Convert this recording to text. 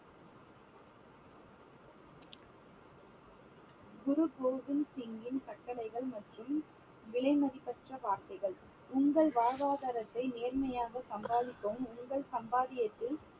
குரு கோவிந்த் சிங்கின் கட்டளைகள் மற்றும் விலைமதிப்பற்ற வார்த்தைகள் உங்கள் வாழ்வாதாரத்தை நேர்மையாக சம்பாதிக்கவும் உங்கள் சம்பாத்தியத்தில்